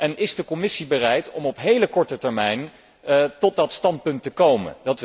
En is de Commissie bereid om op hele korte termijn tot dat standpunt te komen?